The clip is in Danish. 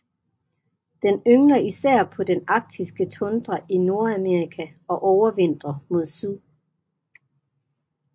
Den yngler især på den arktiske tundra i Nordamerika og overvintrer mod syd